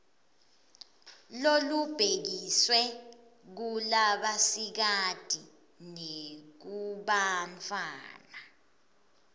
lolubhekiswe kulabasikati nakubantfwana